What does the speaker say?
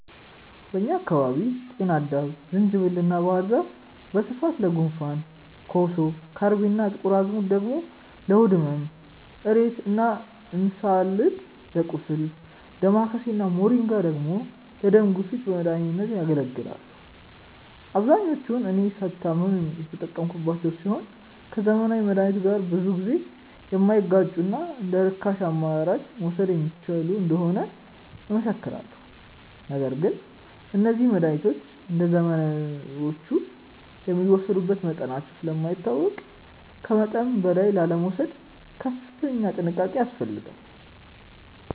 በእኛ አካባቢ ጤናአዳም፣ ዝንጅብል እና ባህር ዛፍ በስፋት ለጉንፋን፣ ኮሶ፣ ከርቤ እና ጥቁር አዝሙድ ደግሞ ለሆድ ህመም፣ እሬት እና እንስላል ለቁስል፣ ዳማከሴ እና ሞሪንጋ ደግሞ ለደም ግፊት በመድኃኒትነት ያገለግላሉ። አብዛኞቹን እኔ ስታመም የተጠቀምኳቸው ሲሆን ከዘመናዊ መድሃኒቶች ጋር ብዙ ጊዜ የማይጋጩና እንደርካሽ አማራጭ መወሰድ የሚችሉ እንደሆኑ እመሰክራለሁ። ነገር ግን እነዚህ መድሃኒቶች እንደዘመናዊዎቹ የሚወሰዱበት መጠናቸው ስለማይታወቅ ከመጠን በላይ ላለመውሰድ ከፍተኛ ጥንቃቄ ያስፈልጋል።